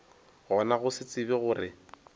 gona go se tsebe gore